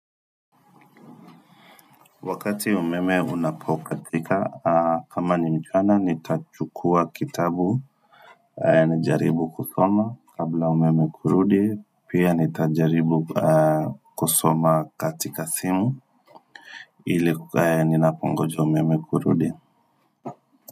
Wakati umeme unapokatika kama ni mjana nitachukua kitabu Nijaribu kusoma kabla umeme kurudi Pia nitajaribu kusoma katika simu ile kukaa ninapo ongoja umeme kurudi.